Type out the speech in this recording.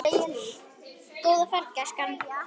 Góða ferð, gæskan!